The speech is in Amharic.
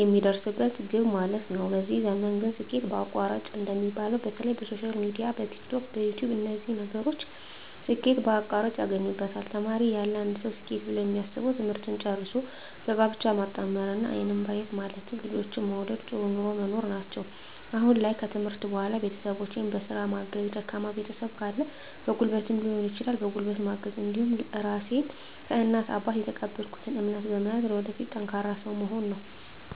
የሚደርስበት ግብ ማለት ነዉ በዚህ ዘመን ግን ስኬት በአቋራጭ እንደሚባለዉ በተለይ በሶሻል ሚድያ በቲክቶክ በዩትዩብ በነዚህ ነገሮች ስኬት በአቋራጭ ያገኙበታል ተማሪ እያለ አንድ ሰዉ ስኬት ብሎ የሚያስበዉ ትምህርትን ጨርሶ በጋብቻ መጣመርና አይንን በአይን ማየት ማለትም ልጆችን መዉለድ ጥሩ ኑሮ መኖር ናቸዉ አሁን ላይ ከትምህርት በኋላ ቤተሰቦቸን በስራ ማገዝ ደካማ ቤተሰብ ካለ በጉልበትም ሊሆን ይችላል በጉልበት ማገዝ እንዲሁም ራሴን ከእናት ከአባት የተቀበልኩትን እምነት በመያዝ ለወደፊት ጠንካራ ሰዉ መሆን ነዉ